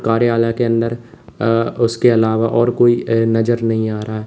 कार्यालय के अंदर अ उसके अलावा और कोई ए नजर नहीं आ रहा है।